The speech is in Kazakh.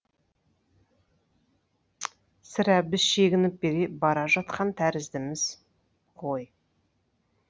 сірә біз шегініп бара жатқан тәріздіміз ғой